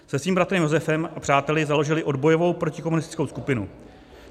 Se svým bratrem Josefem a přáteli založili odbojovou protikomunistickou skupinu.